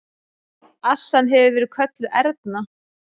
Assan hefur verið kölluð Erna.